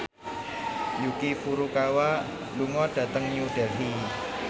Yuki Furukawa lunga dhateng New Delhi